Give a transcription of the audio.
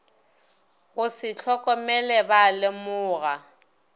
go se hlokomele ba lemoga